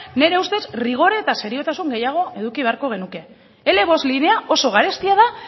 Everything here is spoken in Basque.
nire ustez rigor eta seriotasun gehiago eduki beharko genuke ele bost linea oso garestia da